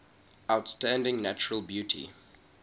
outstanding natural beauty